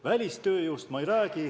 Välistööjõust ma ei räägi.